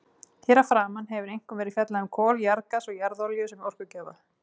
Hér að framan hefur einkum verið fjallað um kol, jarðgas og jarðolíu sem orkugjafa.